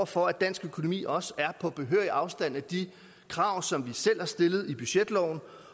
for at dansk økonomi også er på behørig afstand af de krav som vi selv har stillet i budgetloven